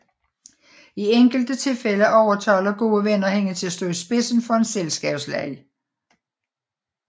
I enkelte tilfælde overtaler gode venner hende til at stå i spidsen for en selskabsleg